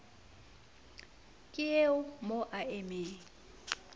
ke eo mo a emeng